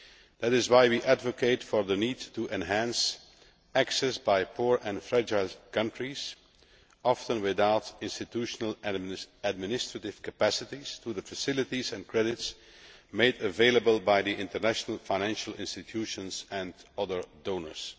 That is why we advocate the need to enhance access by poor and fragile countries, often without institutional administrative capacities, to the facilities and credits made available by the international financial institutions and other donors.